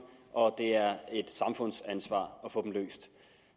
og at det er et samfundsansvar at få dem løst